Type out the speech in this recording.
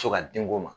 Fo ka denko ma